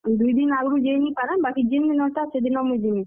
ଦୁଈ ଦିନ୍ ଆଗ୍ ରୁ ଜେଇ ନି ପାରେଁ ବାକି ଜେନ୍ ଦିନର୍ ଟା ସେଦିନ ମୁଇଁ ଯିମି।